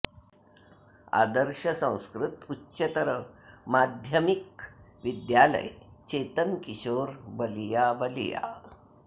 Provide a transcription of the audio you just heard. आदर्श संस्कृत उच्चतर माध्यमिक विद्यालय चेतन किशोर बलिया बलिया